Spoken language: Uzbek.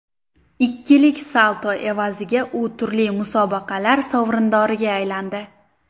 Ikkilik salto evaziga u turli musobaqalar sovrindoriga aylandi.